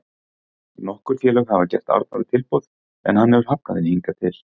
Nokkur félög hafa gert Arnóri tilboð en hann hefur hafnað þeim hingað til.